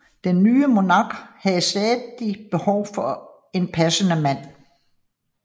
Den nye monark havde stadig behov for en passende mand